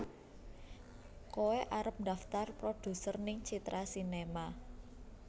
Koe arep ndaftar produser ning Citra Sinema